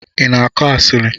Ina akụ asili?